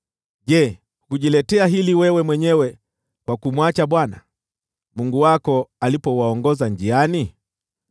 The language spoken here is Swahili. Je, hukujiletea hili wewe mwenyewe kwa kumwacha Bwana , Mungu wako alipowaongoza njiani?